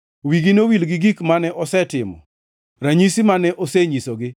Wigi nowil gi gik mane osetimo, ranyisi mane osenyisogi.